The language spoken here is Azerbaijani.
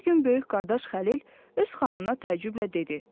Bir gün böyük qardaş Xəlil öz xanımına təəccüblə dedi: